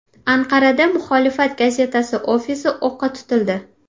Anqarada muxolifat gazetasi ofisi o‘qqa tutildi.